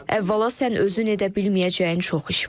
Əvvəla sən özün edə bilməyəcəyin çox iş var.